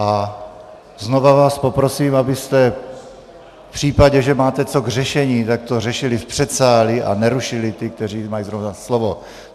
A znova vás poprosím, abyste v případě, že máte co k řešení, tak to řešili v předsálí a nerušili ty, kteří mají zrovna slovo.